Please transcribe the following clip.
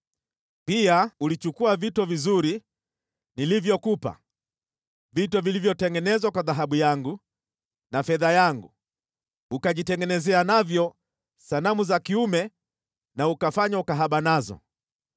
Pia ulichukua vito vizuri nilivyokupa, vito vilivyotengenezwa kwa dhahabu yangu na fedha yangu, ukajitengenezea navyo sanamu za kiume na ukafanya ukahaba nazo.